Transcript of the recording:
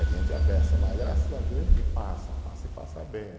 É gente à beça, mas graças a Deus a gente passa, passa e passa bem.